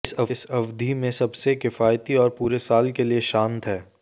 इस अवधि में सबसे किफायती और पूरे साल के लिए शांत है